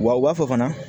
Wa u b'a fɔ fana